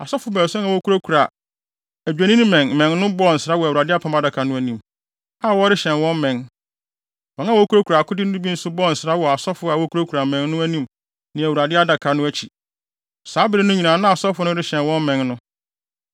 Asɔfo baason a wokurakura adwennimmɛn mmɛn no bɔɔ nsra wɔ Awurade Adaka no anim, a wɔrehyɛn wɔn mmɛn. Wɔn a wokurakura akode no bi nso bɔɔ nsra wɔ asɔfo a wokurakura mmɛn no anim ne Awurade Adaka no akyi. Saa bere no nyinaa na asɔfo no rehyɛn wɔn mmɛn no.